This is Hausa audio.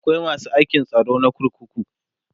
akwai masu aikin tsaro na kurkuku